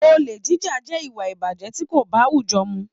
Ole jíjà jẹ ìwà ìbàjẹ́ tí kò báwújọ́ mu.